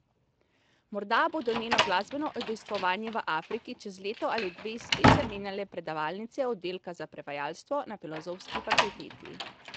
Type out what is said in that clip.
Morda bodo njeno glasbeno udejstvovanje v Afriki čez leto ali dve spet zamenjale predavalnice oddelka za prevajalstvo na Filozofski fakulteti.